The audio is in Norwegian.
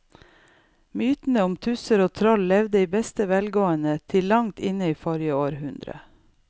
Mytene om tusser og troll levde i beste velgående til langt inn i forrige århundre.